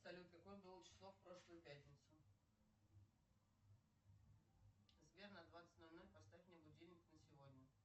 салют какое было число в прошлую пятницу сбер на двадцать ноль ноль поставь мне будильник на сегодня